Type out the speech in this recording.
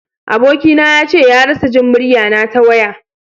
Aboki na ya ce ya rasa Jin murya na ta waya.